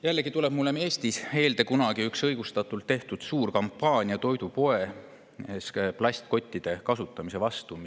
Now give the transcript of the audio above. Tuleb meelde üks suur kampaania, mida Eestis kunagi õigustatult tehti, et plastkottide kasutamist toidupoes.